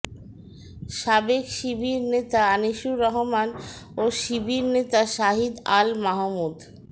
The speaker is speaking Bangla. সাবেক শিবির নেতা আনিসুর রহমান ও শিবির নেতা শহিদ আল মাহমুদ